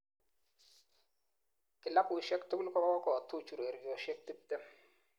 Kilabushek tugul kokokotuch urerioshek 20